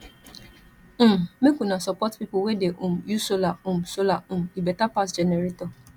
um make una support pipu wey dey um use solar um solar um e beta pass generator